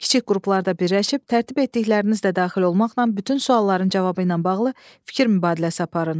Kiçik qruplarda birləşib tərtib etdiklərinizlə daxil olmaqla bütün sualların cavabı ilə bağlı fikir mübadiləsi aparın.